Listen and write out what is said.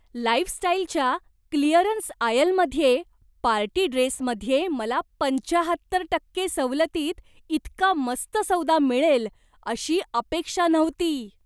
लाइफस्टाइलच्या clearance आयलमध्ये party ड्रेसमध्ये मला पंच्याहत्तर टक्के सवलतीत इतका मस्त सौदा मिळेल अशी अपेक्षा नव्हती.